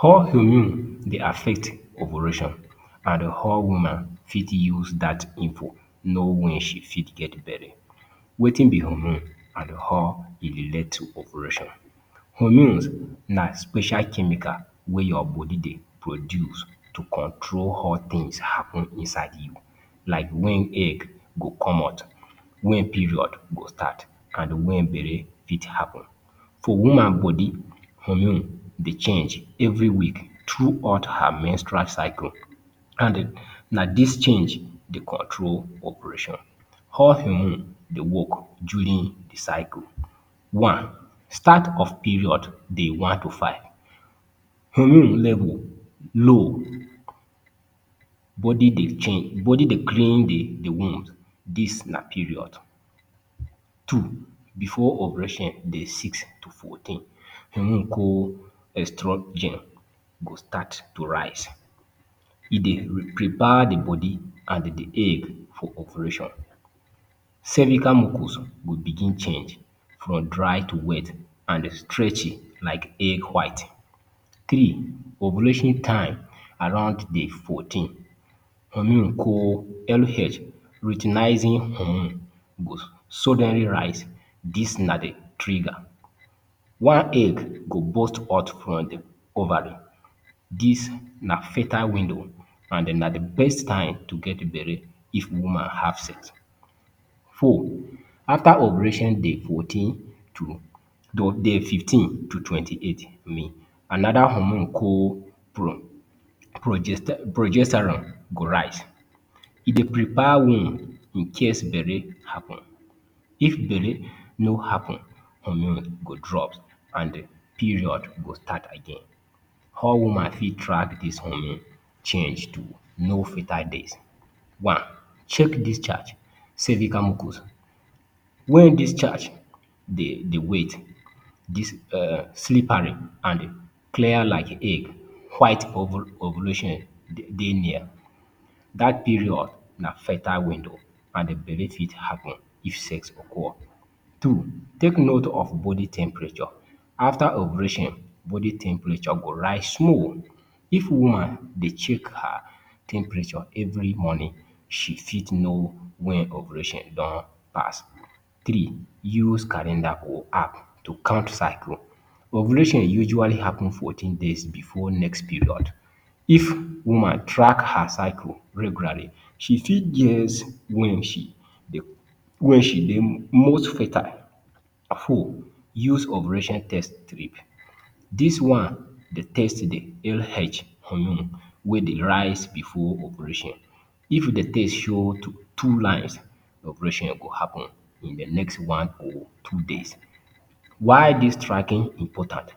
How hormone dey affect ovulation and how woman fit use dat info know wen she fit get belle? Wetin be hormone and how e relate to ovulation? Hormone na special chemical wey your body dey produce to control how tins happen inside you. Like wen egg go come out, wen period go start and wen belle fit happen. For woman body, hormone dey change every week throughout her menstrual cycle and na dis change dey control ovulation. How hormone dey work during di cycle? One, start of period, day one to five. Hormone level, low, body dey change body dey clean di di womb; dis na period. Two, before ovulation, day six to fourteen. Hormone call extract gene go start to rise. E dey re prepare di body and di egg for ovulation. Cervical mucus go begin change from dry to wet and stretchy like egg white. Three, ovulation time, around day fourteen. Hormone call LH- luteinizing hormone go suddenly rise, dis na di trigger. One egg go burst out from di ovary, dis na fertile window and na di best time to get belle if woman have sex. Four, after ovulation day fourteen to to day fifteen to twenty-eight I mean, anoda hormone call pro progester progesterone go rise. E dey prepare wound incase belle happen. If belle no happen, hormone go drop and period go start again. How woman fit track dis hormone change to know fertile days?. One, check discharge, cervical mucus. Wen discharge dey dey wait, dis um slippery and clear like egg white ovu ovulation de dey near, dat period na fertile window and belle fit happen if sex occur. Two, take note of body temperature. After ovulation, body temperature go rise small. If woman dey check her temperature every morning, she fit know wen ovulation don pass. Three, use calendar or app to count cycle. Ovulation usually happen fourteen days before next period. If woman track her circle regularly, she fit guess wen she dey wen she dey most fertile. Four, use ovulation test strip. Dis one dey test di LH hormone wey dey rise before ovulation. If di test show two two lines, ovulation go happen in di next one or two days. While dis tracking important,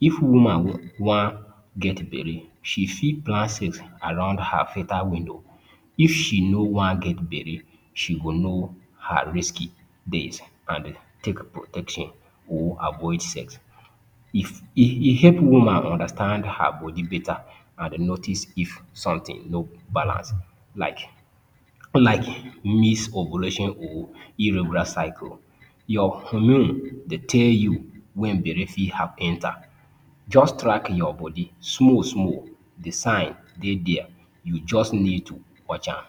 if woman wu wan get belle, she fit plan sex around her fertile window. If she no wan get belle, she go know her risky days and take protection or avoid sex. If e e help woman understand her body beta and notice if sometin no balance like like miss ovulation or irregular cycle. Your hormone dey tell you wen belle fit hap enter. Just track your body small small, di signs dey dier, you just need to watch am.